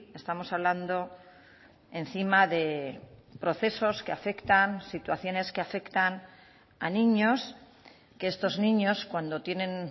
estamos hablando encima de procesos que afectan situaciones que afectan a niños que estos niños cuando tienen